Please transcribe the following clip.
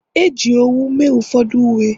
e ji owu mee ụfọdụ uwe